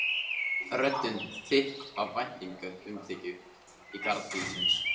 Röddin þykk af væntumþykju í garð bílsins.